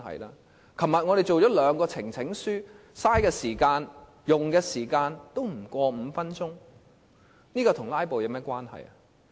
立法會昨天處理了兩項呈請書，所花的時間不超過5分鐘，這修正與"拉布"有何關係？